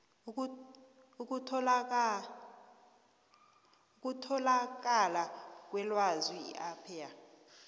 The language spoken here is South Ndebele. ukutholakala kwelwazi ipaia